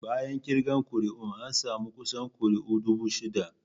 Bayan kirga kuri'un, an samu kusan kuri'u dubu shida.